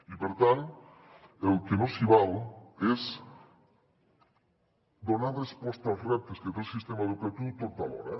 i per tant el que no s’hi val és donar resposta als reptes que té el sistema educatiu tot alhora